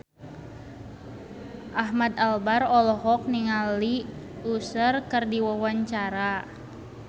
Ahmad Albar olohok ningali Usher keur diwawancara